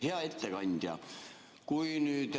Hea ettekandja!